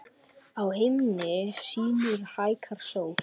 Á himni sínum hækkar sól.